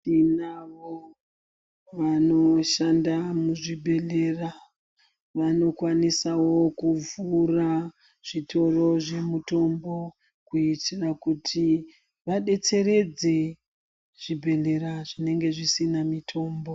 Vanoshanda muzvibhedhlera vanokwanisawo kuvhura zvitoro zvemutombo kuitira kuti vadetseredze zvibhedhlera zvinenge zvisina mitombo.